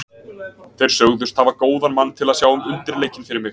Þeir sögðust hafa góðan mann til að sjá um undirleikinn fyrir mig.